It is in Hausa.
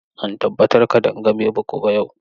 Zan tabbatar Kadanga bai bugu ba yau.